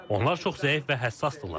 Onlar çox zəif və həssasdırlar.